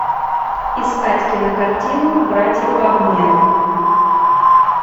искать кинокартину братья по обмену